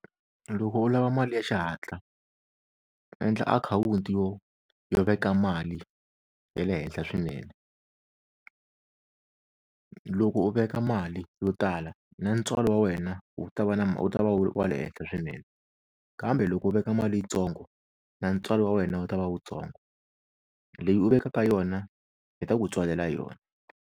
Loko u lava mali ya xihatla endla akhawunti yo yo veka mali ya le henhla swinene loko u veka mali yo tala na ntswalo wa wena wu ta va na wu ta va wu wa le henhla swinene kambe loko u veka mali yitsongo na ntswalo wa wena wu ta va wutsongo leyi u vekaka yona yi ta ku tswalela yona.